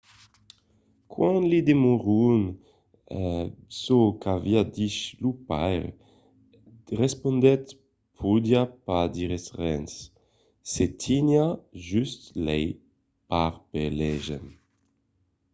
quand li demandèron çò qu’aviá dich lo paire respondèt podiá pas dire res – se teniá just lai parpelejant.